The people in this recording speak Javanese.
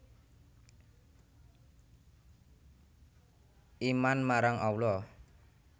Iman marang Allah